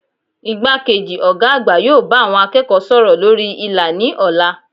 Igbákejì Ògá àgbà yóò bá àwon akéèkó sòrò lórí ìlà ní òla